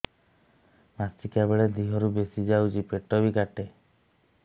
ମାସିକା ବେଳେ ଦିହରୁ ବେଶି ଯାଉଛି ପେଟ ବି କାଟେ